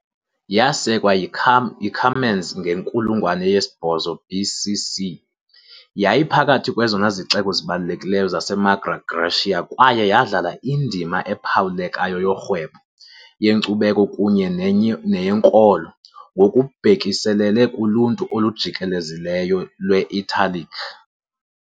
Yasekwa yiCumans ngenkulungwane yesi-8 BC.C, yayiphakathi kwezona zixeko zibalulekileyo zaseMagna Graecia kwaye yadlala indima ephawulekayo yorhwebo, yenkcubeko kunye neyenkolo ngokubhekiselele kuluntu olujikelezileyo lwe-Italic.